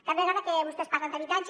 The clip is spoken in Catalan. cada vegada que vostès parlen d’habitatge